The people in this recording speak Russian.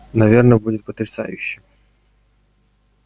наверное будет потрясающе